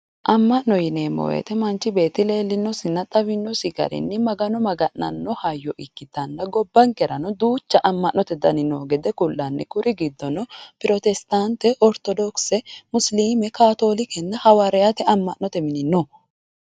Amma'no yineemmo woyte manchu beetti leellinosinna xawinosi garinni magano magana'no hayyo ikkitanna, gobbankera duucha amma'note dani hee'rannota kullanni, kuri giddono protesitaante, orittodokise, musiliime kaatoolike hawaariyaate amma'note mini no.